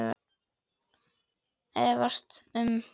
efaðist um